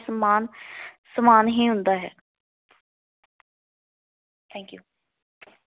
ਸਮਾਨ ਹੀ ਹੁੰਦਾ ਹੈ। Thank you.